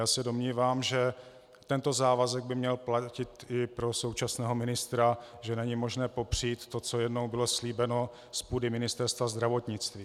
Já se domnívám, že tento závazek by měl platit i pro současného ministra, že není možné popřít to, co jednou bylo slíbeno z půdy Ministerstva zdravotnictví.